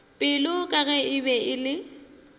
pelo ka ge e be